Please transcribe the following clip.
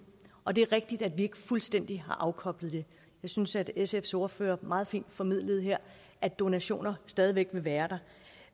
og det er rigtigt at vi ikke fuldstændig har afkoblet det jeg synes at sfs ordfører meget fint formidlede her at donationer stadig væk vil være der